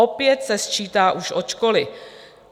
Opět se sčítá už od školy.